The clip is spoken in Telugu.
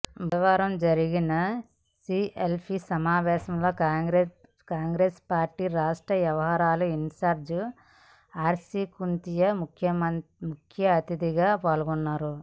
బుధవారం జరిగిన సిఎల్పి సమావేశానికి కాంగ్రెస్ పార్టీ రాష్ట్ర వ్యవహారాల ఇన్ఛార్జీ ఆర్సి కుంతియా ముఖ్యఅతిథిగా పాల్గొన్నారు